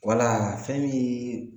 Wala fɛn min